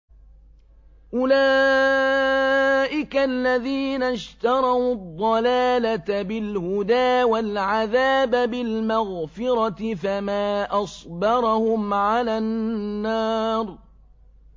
أُولَٰئِكَ الَّذِينَ اشْتَرَوُا الضَّلَالَةَ بِالْهُدَىٰ وَالْعَذَابَ بِالْمَغْفِرَةِ ۚ فَمَا أَصْبَرَهُمْ عَلَى النَّارِ